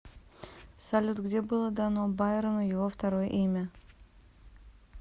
салют где было дано байрону его второе имя